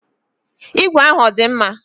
Igwe ahụ ọ dị mma?